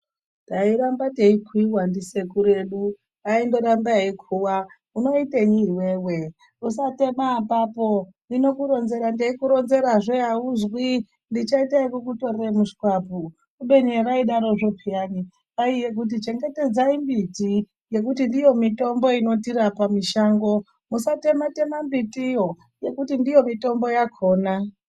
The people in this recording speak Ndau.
Tairambe teikuuyiwa ndisekuru edu aindorambe eikuuwa unoitenyi iwewe usatema apapo ndinokuronzera ndeikuronzerazve auzwi ndichaita ekukutorore mushwapu kubeni evaidaro zvopeyani kwaive kuti chengetadzai miti ngekuti ndiyo mitombo inotirape mushango ,musatematema miti yo ngekuti ndiyo mitombo yakona.